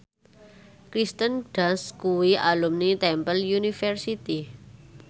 Kirsten Dunst kuwi alumni Temple University